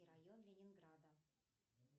район ленинграда